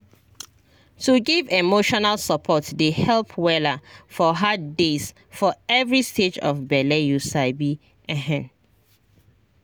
to give emotional support dey help wella for hard days for every stage of bele you sabi ehn